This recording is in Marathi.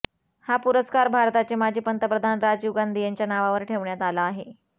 हा पुरस्कार भारताचे माजी पंतप्रधान राजीव गांधी यांच्या नावावर ठेवण्यात आला आहे